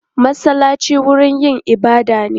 Masallaci wurin yin ibada ne.